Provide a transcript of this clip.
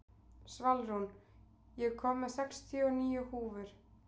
Svalrún, ég kom með sextíu og níu húfur!